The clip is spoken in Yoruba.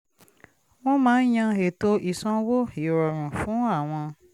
wọ́n máa yan ètò ìsanwó ìrọ̀rùn fún àwọn